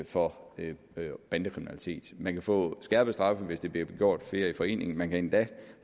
for bandekriminalitet man kan få skærpede straffe hvis det bliver gjort af flere i forening man kan endda